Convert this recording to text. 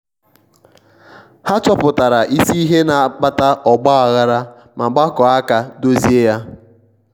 ha chọpụtara isi ihe na-akpata ọgba aghara ma gbakọọ aka dozie ya.